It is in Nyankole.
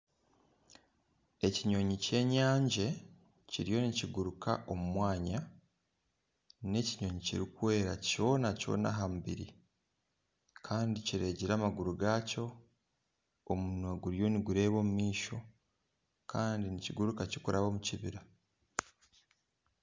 Ekinyonyi kyenyangi kiriyo nikiguruka omu mwanya n'ekinyonyi kirikwera kyona kyona aha mubiri Kandi kiregire amaguru gaakyo omunwa guriyo nigureeba omu maisho Kandi nikiguruka kirikuraba omu kibira